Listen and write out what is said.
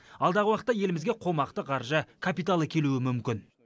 алдағы уақытта елімізге қомақты қаржы капиталы келуі мүмкін